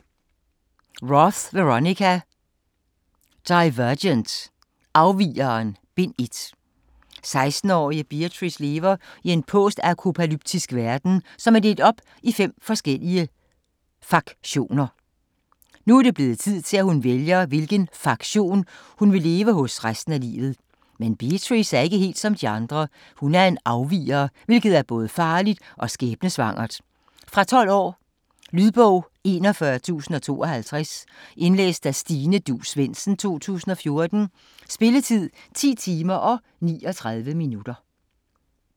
Roth, Veronica: Divergent: Afvigeren: Bind 1 16-årige Beatrice lever i en postapokalyptisk verden, som er delt op i fem forskellige faktioner. Nu er det blevet tid til, at hun vælger hvilken faktion hun vil leve hos resten af livet. Men Beatrice er ikke helt som andre, hun er en afviger, hvilket er både farligt og skæbnesvangert. Fra 12 år. Lydbog 41052 Indlæst af Stine Duus Svendsen, 2014. Spilletid: 10 timer, 39 minutter.